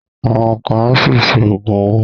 Àwọn kan á ṣì ṣe Ògùn owó